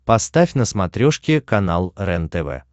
поставь на смотрешке канал рентв